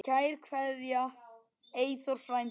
Kær kveðja, Eyþór frændi.